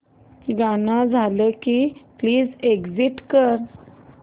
गाणं झालं की प्लीज एग्झिट कर